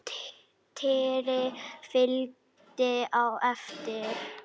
Týri fylgdi á eftir.